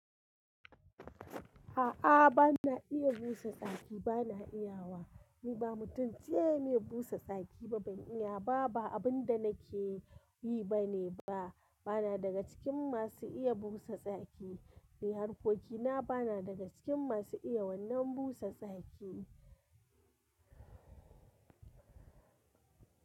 A'a, bana iya busa tsaki, bana iya wa. Ni ba mutum ce mai busa tsaki ba, ban iya ba, ba abin da nake yi ba ne ba. Bana daga cikin masu iya busa tsaki, ni harkokina bana daga cikin masu iya wannan busa tsaki.